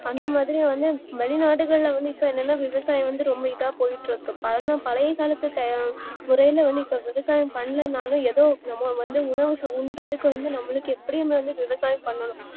அந்தமாதிரியே வந்து மனிதர்களிடம் விவசாயம் வந்து போயிட்டுஇருக்கு விவசாயம் பண்ணலனாலும் ஏதோ ஏதோ உணவு உண்றதுக்கு வந்து நமக்கு எப்டியும் விவசாயம் பண்ணனும்